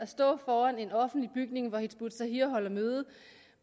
stå foran en offentlig bygning hvor hizb ut tahrir holdt møde